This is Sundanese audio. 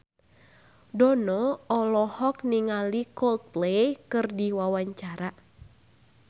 Dono olohok ningali Coldplay keur diwawancara